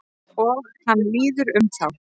Og hann líður um þá.